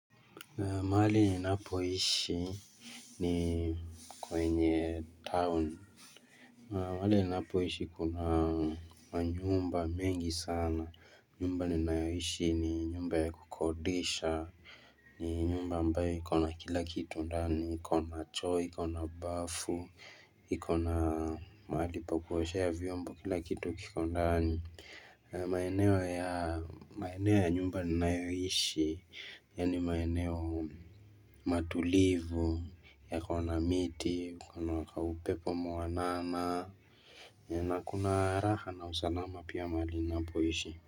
Mahali ninapoishi ni kwenye town mahali ninapoishi kuna nyumba mingi sana nyumba ninayoishi ni nyumba ya kukodisha nyumba ambayo ikona kila kitu ndani ikona choo ikona bafu ikona mahali pa kuoshea vyombo kila kitu kiko ndani maeneo ya nyumba ninayoishi, yaani maeneo matulivu, yakona miti, kuna upepo mwanana, na kuna raha na usanama pia mahali napoishi.